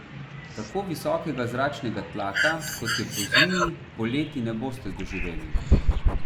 Tako visokega zračnega tlaka, kot je pozimi, poleti ne boste doživeli.